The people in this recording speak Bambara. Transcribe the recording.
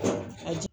A di